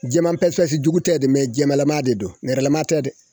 Jɛman paspasi jugu tɛ dɛ jɛmanlama de don nɛrɛlama tɛ dɛ